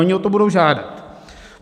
Oni o to budou žádat.